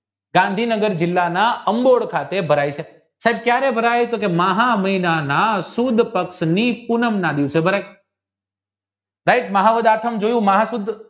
ગાંધીનગર જિલ્લાના અંબોય ખાતે આવેલું છે સાહેબ કયારે ભરાય તો મહામહિનાના સુદ પક્ષની પૂનમના દિવસે ભરાય right મહાદસાય જોયું